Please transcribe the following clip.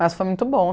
Mas foi muito bom.